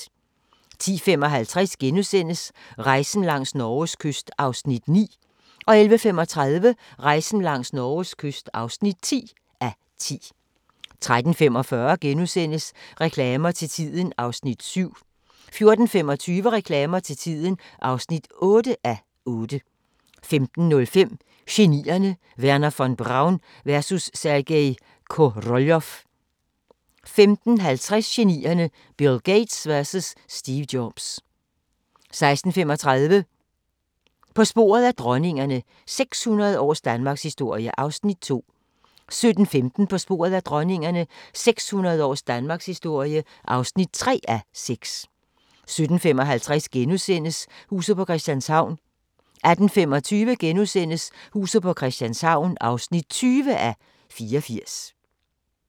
10:55: Rejsen langs Norges kyst (9:10)* 11:35: Rejsen langs Norges kyst (10:10) 13:45: Reklamer til tiden (7:8)* 14:25: Reklamer til tiden (8:8) 15:05: Genierne: Wernher von Braun vs. Sergej Koroljov * 15:50: Genierne: Bill Gates vs Steve Jobs 16:35: På sporet af dronningerne – 600 års danmarkshistorie (2:6) 17:15: På sporet af dronningerne – 600 års danmarkshistorie (3:6) 17:55: Huset på Christianshavn * 18:25: Huset på Christianshavn (20:84)*